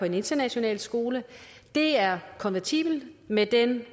en international skole er kompatibelt med den